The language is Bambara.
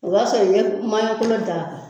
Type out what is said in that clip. O b'a sɔrɔ i ye maɲɔkolo da